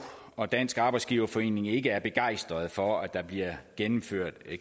og dansk arbejdsgiverforening ikke er begejstrede for at der bliver indført